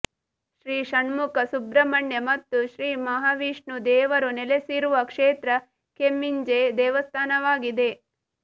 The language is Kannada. ಶ್ರೀ ಷಣ್ಮುಖ ಸುಬ್ರಹ್ಮಣ್ಯ ಮತ್ತು ಶ್ರೀ ಮಹಾವಿಷ್ಣು ದೇವರು ನೆಲೆಸಿರುವ ಕ್ಷೇತ್ರ ಕೆಮ್ಮಿಂಜೆ ದೇವಸ್ಥಾನವಾಗಿದೆ